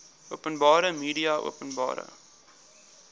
openbare media openbare